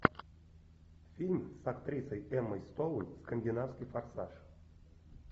фильм с актрисой эммой стоун скандинавский форсаж